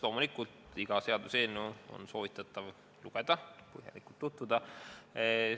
Loomulikult on soovitatav iga seaduseelnõu lugeda ja sellega tutvuda.